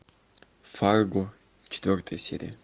фарго четвертая серия